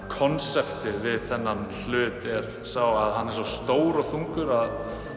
konseptið við þennan hlut er að hann er svo stór og þungur að